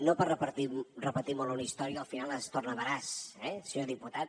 no per repetir molt una història al final es torna veraç eh senyor diputat